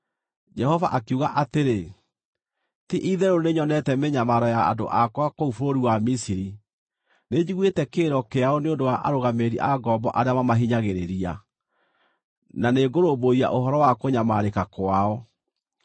Jehova akiuga atĩrĩ; “Ti-itherũ nĩnyonete mĩnyamaro ya andũ akwa kũu bũrũri wa Misiri. Nĩnjiguĩte kĩrĩro kĩao nĩ ũndũ wa arũgamĩrĩri a ngombo arĩa mamahinyagĩrĩria, na nĩngũrũmbũiya ũhoro wa kũnyamarĩka kwao.